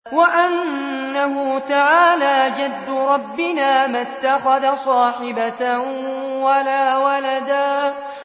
وَأَنَّهُ تَعَالَىٰ جَدُّ رَبِّنَا مَا اتَّخَذَ صَاحِبَةً وَلَا وَلَدًا